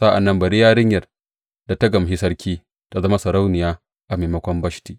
Sa’an nan bari yarinyar da ta gamshi sarki, tă zama sarauniya a maimakon Bashti.